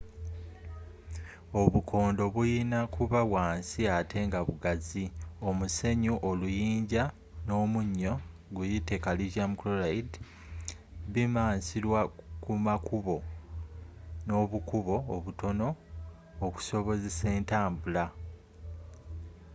obukondo bulina kuba wansi atte nga bugazi. omusenyu oluyinja n’omunyocalcium chloride bimansirwa kumakkubo nobukubo obutono okusobozesa entambula